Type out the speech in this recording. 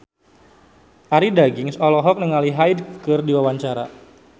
Arie Daginks olohok ningali Hyde keur diwawancara